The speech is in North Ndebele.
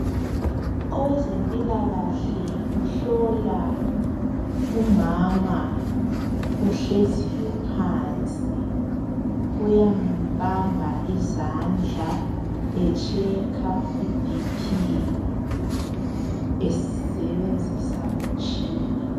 Owe zempilakahle uhlola umama ohleziyo phansi uyamubamba izandla ehlola ibp esebenzisa umtshini .